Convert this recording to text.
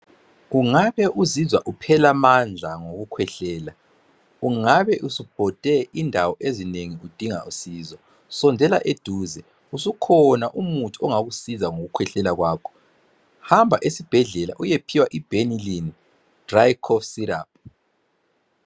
Ungabe uzizwa uphela amandla ngokukhwehlela, ungabe usubhode indawo ezinengi udinga usizo sondela eduze, usukhona umuthi ongakusiza ngokukhwehlela kwakho .Hamba esibhedlela uyephiwa i"benilyn-dry cough syrup."